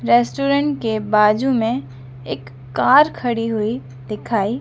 restaurant के बाजू में एक कार खड़ी हुई दिखाइ--